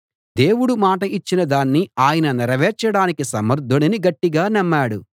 దేవుడు మాట ఇచ్చిన దాన్ని ఆయన నెరవేర్చడానికి సమర్థుడని గట్టిగా నమ్మాడు